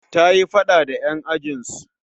Ta yi faɗa da 'yan ajin su